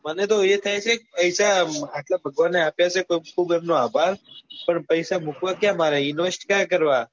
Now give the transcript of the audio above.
મને તો એ થાય છે કે પૈસા આટલા ભગવાને આપ્યા છે એમનો ખુબ અભાર પણ પૈસા મુકવા ક્યાં મારે invest ક્યાં કરવા